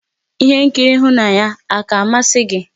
Ihé nkiri ịhụnanya àkà a masị gị?